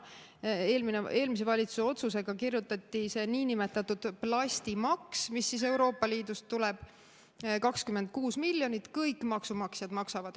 Eelmise valitsuse otsusega kirjutati see nn plastimaks, mis Euroopa Liidust tuleb, 26 miljonit – kõik maksumaksjad maksavad.